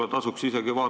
Austatud ettekandja!